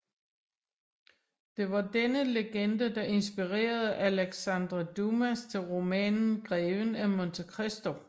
Det var denne legende der inspirerede Alexandre Dumas til romanen Greven af Monte Cristo